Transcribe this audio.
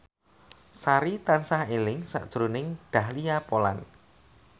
Sari tansah eling sakjroning Dahlia Poland